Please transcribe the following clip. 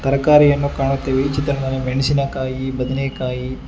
ತರಕಾರಿಯನ್ನು ಕಾಣುತ್ತೇವೆ ಈ ಚಿತ್ರನ ಮೆಣಸಿನಕಾಯಿ ಬಣನೆಕಾಯಿ--